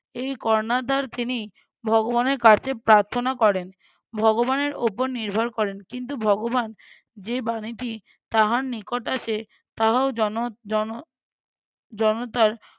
এই কর্ণাধার তিনি ভগবানের কাছে প্রার্থনা করেন ভগবানের ওপর নির্ভর করেন কিন্তু ভগবান যে বাণীটি তাহার নিকট আসে তাহাও জন~ জন~ জনতার